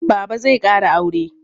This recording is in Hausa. Baba zai ƙara aure.